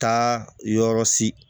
Taa yɔrɔ si